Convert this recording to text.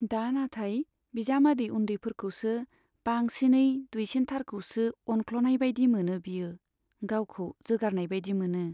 दा नाथाय बिजामादै उन्दैफोरखौसो, बांसिनै दुइसिनथारखौसो अनख्ल'नाय बाइदि मोनो बियो , गावखौ जोगारजानाय बाइदि मोनो।